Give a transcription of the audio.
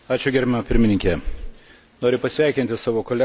Noriu pasveikinti savo kolegą, parengus šį pranešimą.